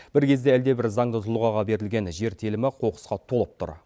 бір кезде әлдебір заңды тұлғаға берілген жер телімі қоқысқа толып тұр